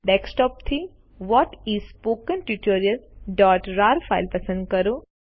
desktop થી what is a spoken tutorialરાર file પસંદ કરો